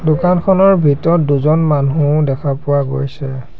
দোকানখনৰ ভিতৰত দুজন মানুহো দেখা পোৱা গৈছে।